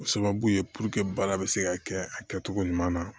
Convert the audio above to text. O sababu ye baara bɛ se ka kɛ a kɛcogo ɲuman na